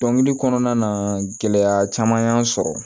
Dɔnkili kɔnɔna na gɛlɛya caman y'an sɔrɔ